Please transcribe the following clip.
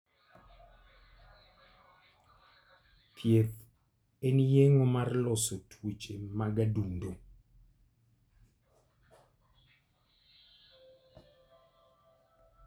Thieth en yeng'o mar loso tuoche mag adundo